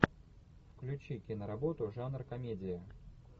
включи киноработу жанр комедия